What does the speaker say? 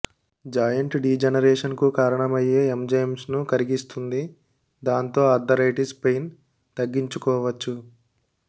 joint degeneration కు కారణమయ్యే enzymes ను కరిగిస్తుంది దాంతో ఆర్థరైటిస్ పెయిన్ తగ్గించుకోవచ్చు